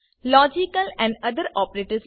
logical other operators